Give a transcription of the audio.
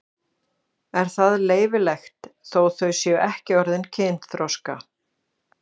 Er það leyfilegt þótt þau séu ekki orðin kynþroska?